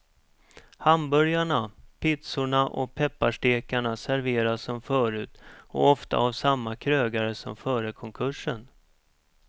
Hamburgarna, pizzorna och pepparstekarna serveras som förut och ofta av samma krögare som före konkursen.